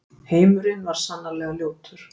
Heimurinn var sannarlega ljótur.